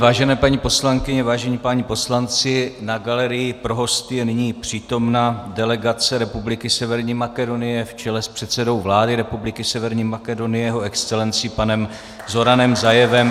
Vážené paní poslankyně, vážení páni poslanci, na galerii pro hosty je nyní přítomna delegace Republiky Severní Makedonie v čele s předsedou vlády Republiky Severní Makedonie Jeho Excelencí panem Zoranem Zaevem.